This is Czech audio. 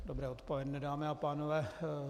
Dobré odpoledne dámy a pánové.